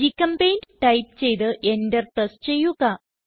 ഗ്ചെമ്പെയിന്റ് type ചെയ്ത് Enter press ചെയ്യുക